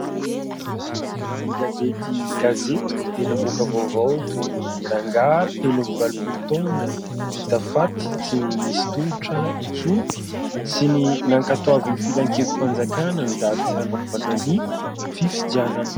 Ny gazety Gazetiko dia namoaka vaovao toy ny "rangahy telo amby valopolo taona hita faty, tsy nisy tongotra intsony" sy ny "nankatoavin'ny filankevi-panjakana ny daty hanaovana ny fifidianana".